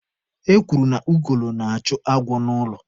Ekwuru na ugolo na-achụ agwọ n'ụlọ.